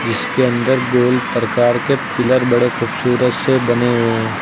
इसके अंदर गोल प्रकार के पिलर बड़े खूबसूरत से बने हुए हैं।